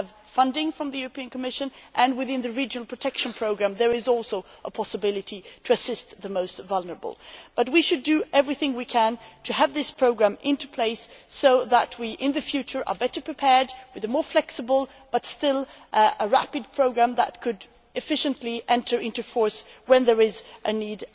We have funding from the European Commission and within the regional protection programme there is also a possibility to assist the most vulnerable. We should do everything we can to have this programme in place so that in the future we are better prepared with a more flexible but still a rapid programme that could efficiently enter into force when there is a need.